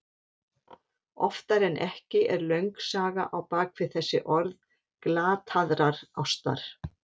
Oftar en ekki er löng saga á bak við þessi orð glataðrar ástar.